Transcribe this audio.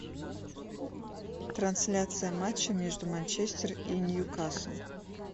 трансляция матча между манчестер и ньюкасл